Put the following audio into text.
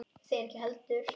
Þeir ekki heldur.